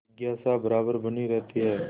जिज्ञासा बराबर बनी रहती है